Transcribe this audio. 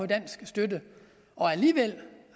dansk støtte og alligevel